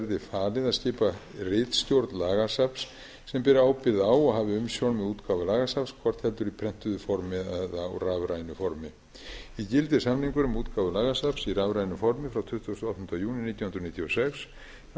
falið að skipa ritstjórn lagasafns sem beri ábyrgð á og hafi umsjón með útgáfu lagasafns hvort heldur í prentuðu formi eða á rafrænu formi í gildi er samningur um útgáfu lagasafns í rafrænu formi frá tuttugasta og áttunda júní nítján hundruð níutíu og sex þar